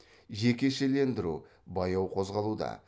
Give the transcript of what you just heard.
жекешелендіру баяу қозғалуда